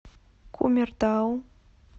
кумертау